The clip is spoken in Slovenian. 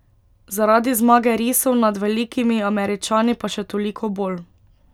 Zaradi zmage risov nad velikimi Američani pa še toliko bolj.